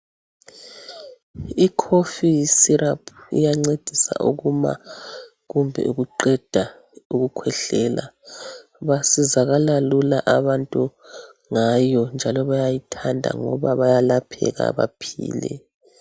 ICough syrup iyancedisa ukuma kumbe ukuqeda ukukhwehlela. Basizakala lula abantu ngayo, njalo bayayithanda, ngoba bayalapheka. Baphile.